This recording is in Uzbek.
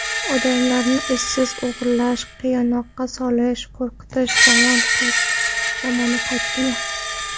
Odamlarni izsiz o‘g‘irlash, qiynoqqa solish, qo‘rqitish zamoni qaytdimi?